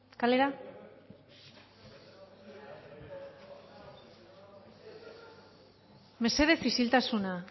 kalera mesedez isiltasuna